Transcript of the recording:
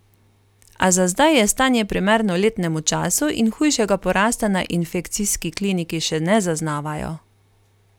A za zdaj je stanje primerno letnemu času in hujšega porasta na infekcijski kliniki še ne zaznavajo.